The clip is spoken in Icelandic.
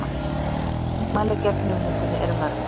Andmæli gegn hugmyndinni eru mörg.